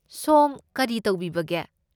ꯁꯣꯝ ꯀꯔꯤ ꯇꯧꯕꯤꯕꯒꯦ?